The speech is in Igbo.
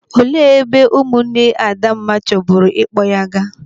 Olee ebe ụmụ nne Adamma chọburu ịkpọ ya gaa?